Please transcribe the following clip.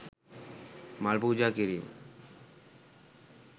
මල් පූජා කිරීම